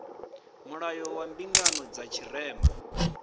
mulayo wa mbingano dza tshirema